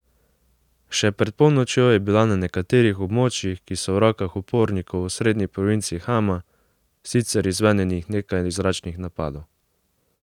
Še pred polnočjo je bilo na nekaterih območjih, ki so v rokah upornikov v osrednji provinci Hama, sicer izvedenih nekaj zračnih napadov.